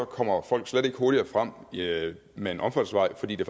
kommer folk slet ikke hurtigere frem med en omfartsvej fordi den